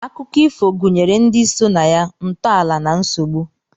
Akụkọ ifo gụnyere ndi so na ya, ntọala na nsogbu.